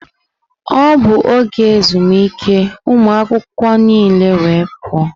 Ọ bụ oge ezumike, ụmụ akwụkwọ niile wee pụọ.